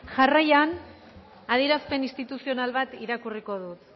jarraian adierazpen instituzional bat irakurriko dut